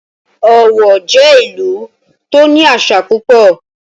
Ọ̀wọ̀ jẹ́ ìlú tó ní àṣà púpọ̀